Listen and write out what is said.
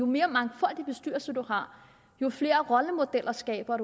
mere mangfoldige bestyrelser for jo flere rollemodeller skaber